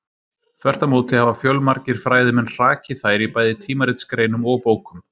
Þvert á móti hafa fjölmargir fræðimenn hrakið þær í bæði tímaritsgreinum og bókum.